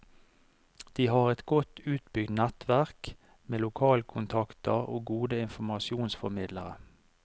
De har et godt utbygd nettverk, med lokalkontaker og gode informasjonsformidlere.